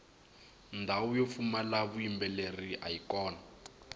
ndhawu yo pfumala vuyimbeleri ayi kona